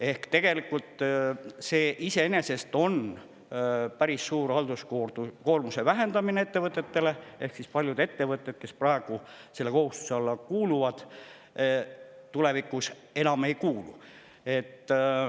Ehk tegelikult see iseenesest on päris suur halduskoormuse vähendamine ettevõtetele, sest paljud ettevõtted, kes praegu selle kohustuse alla kuuluvad, tulevikus enam ei kuulu.